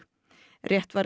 rétt væri að